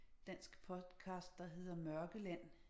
Dansk podcast der hedder Mørkeland